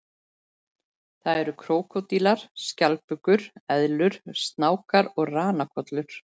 Það eru krókódílar, skjaldbökur, eðlur, snákar og ranakollur.